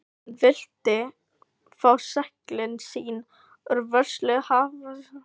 Hann vildi fá seglin sín úr vörslu hafnarstjórnarinnar.